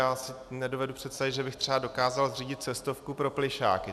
Já si nedovedu představit, že bych třeba dokázal zřídit cestovku pro plyšáky.